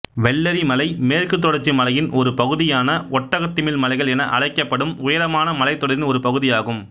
வெள்ளரிமலை மேற்குத் தொடர்ச்சி மலையின் ஒரு பகுதியான ஒட்டகத்திமில் மலைகள் என அழைக்கப்படும் உயரமான மலைத்தொடரின் ஒரு பகுதியாகும்